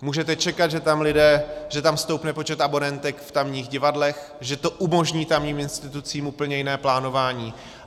Můžete čekat, že tam stoupne počet abonentek v tamních divadlech, že to umožní tamním institucím úplně jiné plánování.